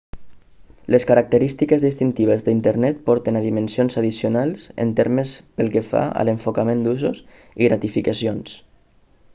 les característiques distintives d'internet porten a dimensions addicionals en termes pel que fa a l'enfocament d'usos i gratificacions